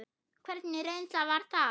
Hvernig reynsla var það?